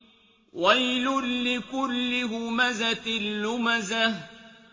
وَيْلٌ لِّكُلِّ هُمَزَةٍ لُّمَزَةٍ